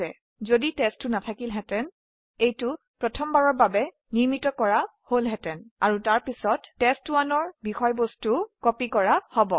যদি টেষ্ট2 না থাকিলেহেতেন এইটো প্ৰথমবাৰৰ বাবে তৈয়াৰ কৰা হব আৰু তাৰপিছত test1ৰ বিষয়বস্তু প্ৰতিলিপি কৰা হব